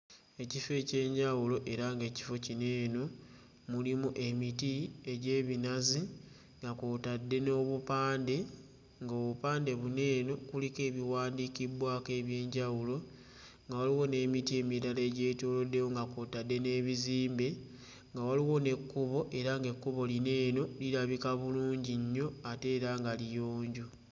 Ekiro eky'enjawulo era ng'ekifo kino eno mulimu emiti egy'ebinazi nga kw'otadde n'obupande, ng'obupande buno eno kuliko ebiwandiikibbwako eby'enjawulo, nga waliwo n'emiti emirala egyetooloddewo nga kw'otadde n'ebizimbe, nga waliwo n'ekkubo era ng'ekkubo lino eno lirabika bulungi nnyo ate era nga liyonjo.